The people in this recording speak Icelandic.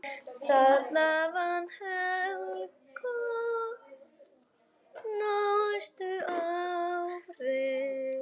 Þarna vann Helga næstu árin.